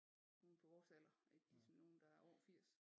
Nogen på vores alder ikke ligesom nogen der er over 80